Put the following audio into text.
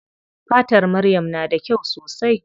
Fatar maryam na da kyau sosai.